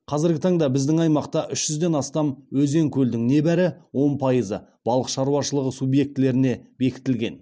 қазіргі таңда біздің аймақта үш жүзден астам өзен көлдің небәрі он пайызы балық шаруашылығы субъектілеріне бекітілген